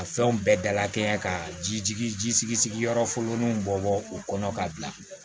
A fɛnw bɛɛ dalakɛɲɛ ka ji sigi sigi yɔrɔ funun bɔ bɔ o kɔnɔ ka bila